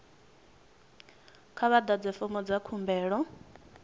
kha vha ḓadze fomo dza khumbelo